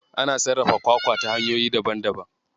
Ana sarrafa kwakwa ta hanyoyi daban daban.